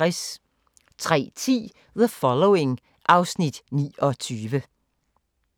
03:10: The Following (Afs. 29)